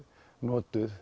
notuð